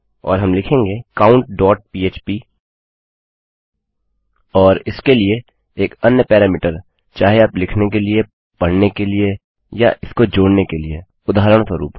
और हम लिखेंगे countपह्प और इसके लिए एक अन्य पैरामीटर चाहे आप लिखने के लिए पढ़ने के लिए या इसको जोड़ने के लिए उदाहरणस्वरुप